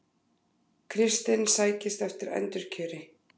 Kristinn sækist eftir endurkjöri